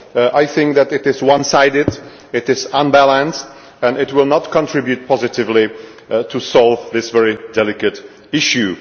I think it is one sided, it is unbalanced and it will not contribute positively to solving this very delicate issue.